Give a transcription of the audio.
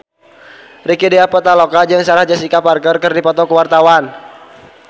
Rieke Diah Pitaloka jeung Sarah Jessica Parker keur dipoto ku wartawan